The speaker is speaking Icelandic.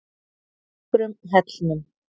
Ökrum Hellnum